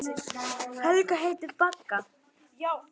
Helgu sem virðist ekkert hissa.